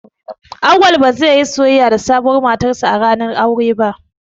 Auwal ba zai iya soyayya da sabuwar matarsa ​​a ranar auren ba.